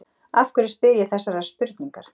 Af hverju spyr ég þessarar spurningar?